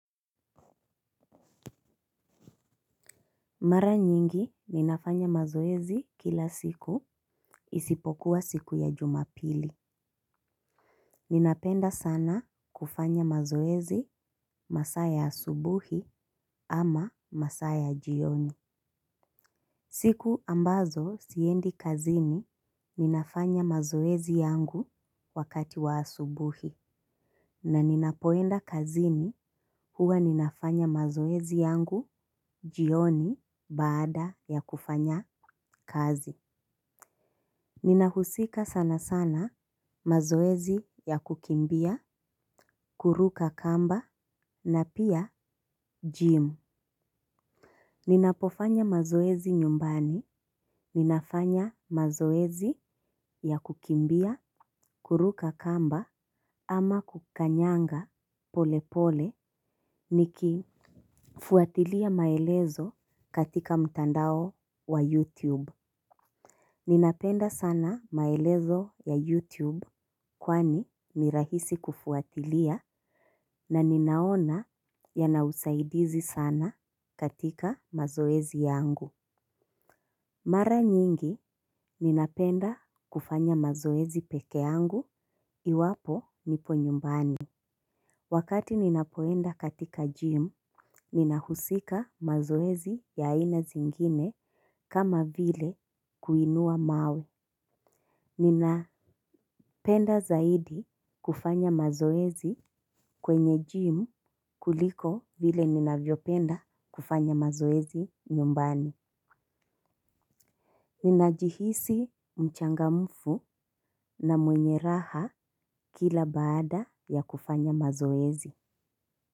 Mara nyingi ninafanya mazoezi kila siku isipokuwa siku ya jumapili. Ninapenda sana kufanya mazoezi masaa ya asubuhi ama masaa ya jioni. Siku ambazo siendi kazini ninafanya mazoezi yangu wakati wa asubuhi. Na ninapoenda kazini huwa ninafanya mazoezi yangu jioni baada ya kufanya kazi. Ninahusika sana sana mazoezi ya kukimbia, kuruka kamba na pia gym. Ninapofanya mazoezi nyumbani, ninafanya mazoezi ya kukimbia, kuruka kamba ama kukanyanga pole pole nikifuatilia maelezo katika mtandao wa YouTube. Ninapenda sana maelezo ya YouTube kwani ni rahisi kufuatilia na ninaona yana usaidizi sana katika mazoezi yangu. Mara nyingi ninapenda kufanya mazoezi peke yangu iwapo nipo nyumbani. Wakati ninapoenda katika gym ninahusika mazoezi ya aina zingine kama vile kuinua mawe. Ninapenda zaidi kufanya mazoezi kwenye gym kuliko vile ninavyopenda kufanya mazoezi nyumbani. Ninajihisi mchangamfu na mwenye raha kila baada ya kufanya mazoezi.